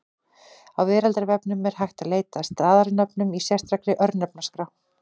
Á Veraldarvefnum er hægt að leita að staðarnöfnum í sérstakri Örnefnaskrá.